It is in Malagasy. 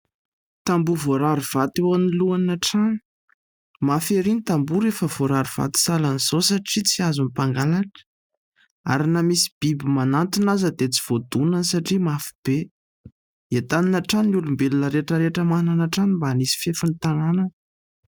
Tamboho voarary vato eo anoloana trano. Mafy erỳ ny tamboho rehefa voarary vato sahala amin'izao satria tsy azon'ny mpangalatra ary na misy biby manantona aza dia tsy voadonany satria mafy be. Entanina hatrany ny olombelona rehetra rehetra manana trano mba hanisy fefy ny tanànany.